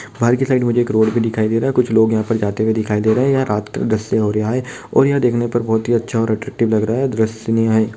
बाहर की साइड एक मुझे रोड दिखाई दे रहा है कुछ लोग जाते हुए दिखाई दे रहे हैयहाँ रात का दृश्य हो रहा हैऔर देखने पर बहुत ही अच्छा अट्रैक्टिव लग रहा है है ।